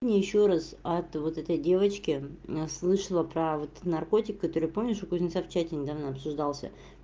я ещё раз от вот этой девочки слышала про вот наркотик который помнишь у кузнеца в чате недавно обсуждался